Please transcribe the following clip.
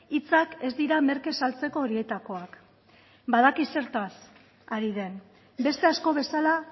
hitzak ez dira merke saltzeko horietakoak badaki zertaz ari den beste asko bezala